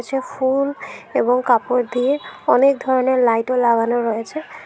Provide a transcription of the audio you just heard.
যে ফুল এবং কাপড় দিয়ে অনেক ধরনের লাইটও লাগানো রয়েছে।